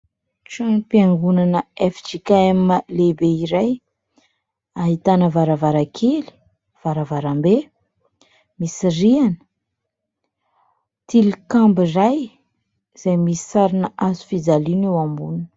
Tranom-piangonana FJKM lehibe iray, ahitana varavarankely, varavarambe, misy rihana, tilikambo iray izay misy sarina hazofijaliana eo amboniny.